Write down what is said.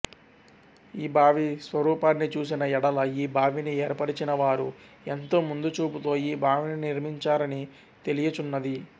ఈ బావి స్వరూపాన్ని చూసిన ఎడల ఈ బావిని ఏర్పరచినవారు ఎంతో ముందుచూపుతో ఈ బావిని నిర్మించినారని తెలియుచున్నది